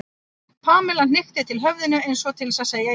Pamela hnykkti til höfðinu eins og til að segja já, en.